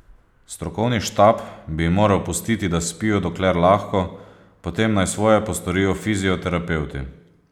Strokovni štab bi jim moral pustiti, da spijo dokler lahko, potem naj svoje postorijo fizioterapevti.